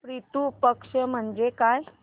पितृ पक्ष म्हणजे काय